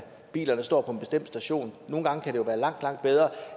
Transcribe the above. bilerne står på en bestemt station nogle gange kan det være langt langt bedre